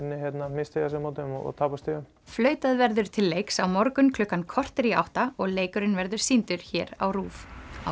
misstíga sig á móti þeim og tapa stigum flautað verður til leiks á morgun klukkan korter í átta og leikurinn verður sýndur hér á RÚV